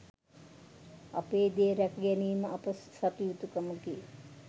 අපේ දේ රැක ගැනීම අප සතු යුතුකමකි